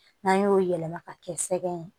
N'an y'o yɛlɛma ka kɛ sɛgɛn ye